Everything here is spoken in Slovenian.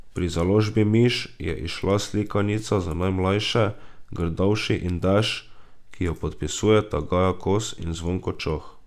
Pri založbi Miš je izšla slikanica za najmlajše Grdavši in dež, ki jo podpisujeta Gaja Kos in Zvonko Čoh.